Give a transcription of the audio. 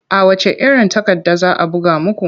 A wacce iron takarda za a buga muku?